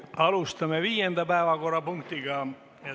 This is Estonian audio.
Alustame viienda päevakorrapunkti arutelu.